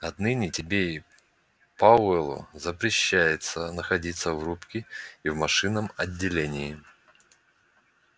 отныне тебе и пауэллу запрещается находиться в рубке и в машинном отделении